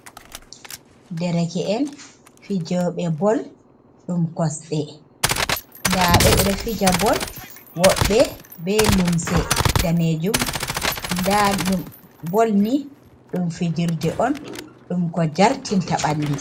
Ɗere ke en fijoɓe bol ɗum kosɗe da ɓe ɓe fija bol woɓɓe be lumse danejum da bolni dum fijirde on ɗum ko jartinta ɓalɗi.